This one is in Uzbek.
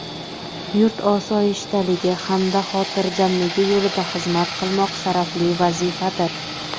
yurt osoyishtaligi hamda xotirjamligi yo‘lida xizmat qilmoq sharafli vazifadir.